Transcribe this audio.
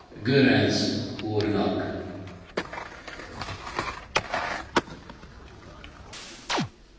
Monsieur le Président, pourquoi faut il que la politique de développement de l'Union européenne change?